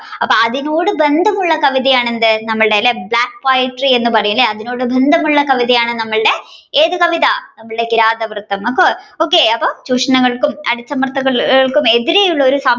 അപ്പൊ അതിനോട് ബന്ധമുള്ള കവിതയാണ് എന്ത് Black നമ്മുടെ അതിനോട് ബന്ധമുള്ള കവിതയാണ് ഏത് കവിത നമ്മുടെ കിരാതവൃത്തം അപ്പൊ okay ചൂഷണങ്ങൾക്കും അടിച്ചമർത്തലുകൾക്കും എതിരെയുള്ള